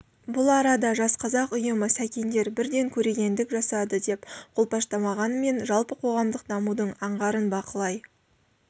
бұл арада жас қазақ ұйымы сәкендер бірден көрегендік жасады деп қолпаштамағанмен жалпы қоғамдық дамудың аңғарын бақылай